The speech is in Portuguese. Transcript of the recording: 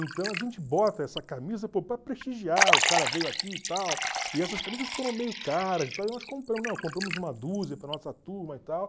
Então a gente bota essa camisa para prestigiar, o cara veio aqui e tal, e essas camisas foram meio caras e tal, e nós compramos, não, compramos uma dúzia para a nossa turma e tal.